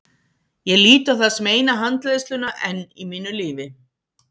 Ég lít á það sem eina handleiðsluna enn í mínu lífi.